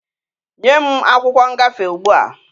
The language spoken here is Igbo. Nye m akwụkwọ ngafe ugbua!